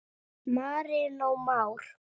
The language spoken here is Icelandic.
Marinó Már.